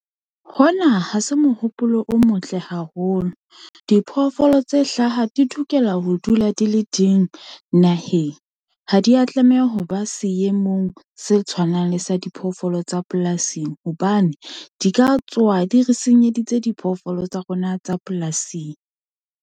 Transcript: Hona ha se mohopolo o motle haholo. Diphoofolo tse hlaha di lokela ho dula di le ding naheng. Ha di a tlameha ho ba seemong se tshwanang le sa diphoofolo tsa polasing hobane di ka tsoha di re senyeditse diphoofolo tsa rona tsa polasing.